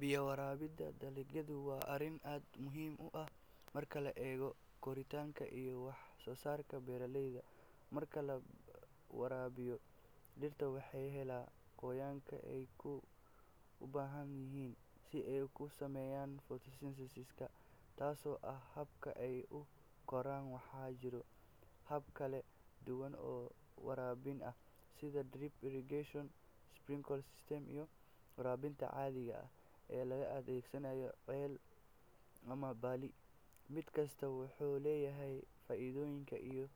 Biyaha waraabinta dalagyadu waa arrin aad muhiim u ah marka la eego koritaanka iyo wax-soosaarka beeraleyda. Marka la waraabiyo dhirta, waxay helaan qoyaanka ay u baahan yihiin si ay u sameeyaan photosynthesis-ka, taasoo ah habka ay u koraan. Waxaa jira habab kala duwan oo waraabin ah sida drip irrigation, sprinkler systems, iyo waraabka caadiga ah ee la adeegsanayo ceel ama balli. Mid kasta wuxuu leeyahay faa’iidooyin iyo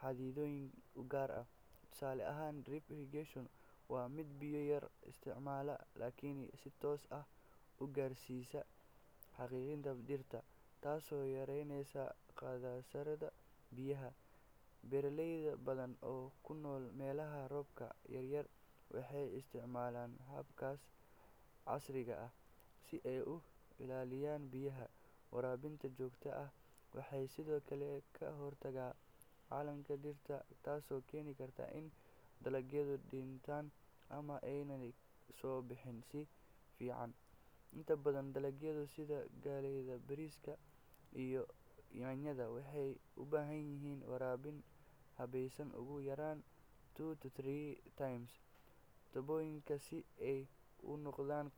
xaddidaadyo u gaar ah. Tusaale ahaan, drip irrigation waa mid biyo yar isticmaala laakiin si toos ah u gaarsiisa xididdada dhirta, taasoo yaraynaysa khasaaraha biyaha. Beeraley badan oo ku nool meelaha roobka yaryahay waxay isticmaalaan hababkaas casriga ah si ay u ilaaliyaan biyaha. Waraabinta joogtada ah waxay sidoo kale ka hortagtaa qalalaynta dhirta, taasoo keeni karta in dalagyadu dhintaan ama aanay soo bixin si fiican. Inta badan dalagyada sida galleyda, bariiska, iyo yaanyada waxay u baahan yihiin waraabin habaysan ugu yaraan two to three times toddobaadkii si ay u noqdaan.